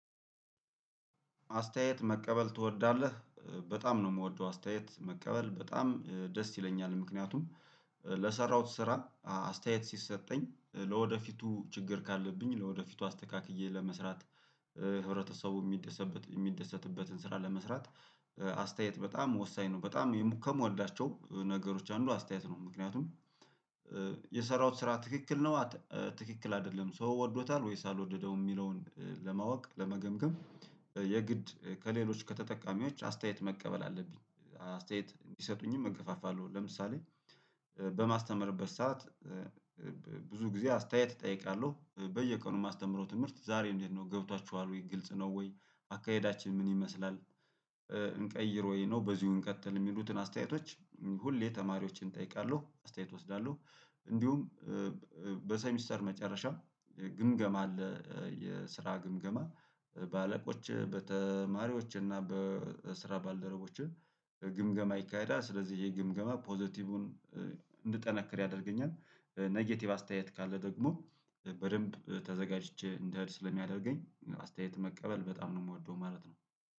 አስተያየት መቀበል ትወዳለህ በጣም ነው እምወደው አስተያየት መቀበል በጣም ደስ ይለኛል ምክንያቱም ለሰራሁት ስራ አስተያየት ሲሰጠኝ ለወደፊቱ ችግር ካለብኝ ለወደፊቱ አስተካክዬ ለመስራት። ህብረተሰቡ እሚደሰትበትን ስራ ለመስራት አስተያየት በጣም ወሳኝ ነው። በጣም ከምወዳቸው ነገሮች አንዱ አስተያየት ነው። ምክንያቱም የሰራውት ስራ ትክክል ነው ትክክል አይደለም ሰው ወዶታል ወይስ አልወደደውም እሚለውን ለማወቅ ለመገምገም የግድ ከሌሎች ከተጠቃሚዎች አስተያየት መቀበል አለብኝ። አስተያየት እንዲሰጡኝም እገፋፋለሁ። ለምሳሌ በማስተምርበት ሰዓት ብዙ ጊዜ አስተያየት እጠይቃለሁ። በየቀኑ እማስተምረው ትምህርት ዛሬ እንዴት ነው ገብቷችኋል ወይ ግልጽ ነው ወይ? አካሄዳችን ምን ይመስላል? እንቀይረው ወይ ነው በዚሁ እንቀጥል የሚሉትን አስተያየቶች ሁሌ ተማሪዎችን እጠይቃለሁ አስተያየት እወስዳለሁ። እንዲሁም በሰሚስተር መጨረሻ ግምገማ አለ የስራ ግምገማ በአለቆቼ በተማሪዎቼ እና በስራ ባልደረቦቼ ግምገማ ይካሄዳል። ስለዚህ ይሄ ግምገማ ፖዘቲቩን እንድጠነክር ያደርገኛል። ኔጌቲቭ አስተያየት ካለ ደግሞ በደንብ ተዘጋጅቼ እንድሄድ ስለሚያደርገኝ አስተያየት መቀበል በጣም ነው የምወደው ማለት ነው